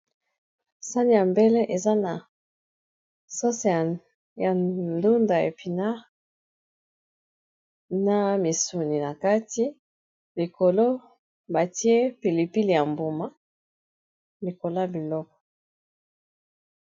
Sani ya mbele eza na sosea ya ndunda, epinare, na misuni na kati likolo batie pilipile ya mbuma likoloa biloko.